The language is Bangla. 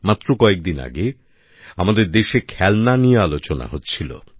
মাত্র কয়েকদিন আগে আমাদের দেশে খেলনা নিয়ে আলোচনা হচ্ছিলো